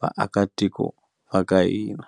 vaakatiko va ka hina.